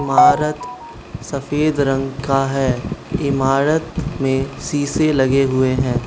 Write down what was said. इमारत सफेद रंग का है इमारत में शीशे लगे हुए हैं।